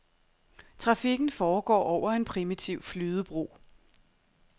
Trafikken foregår over en primitiv flydebro.